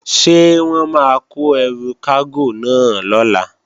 Ṣé wọ́n máa kó ẹrù kágò náà lọ̀la?